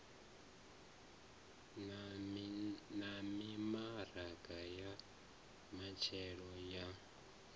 na mimaraga ya matshelo ya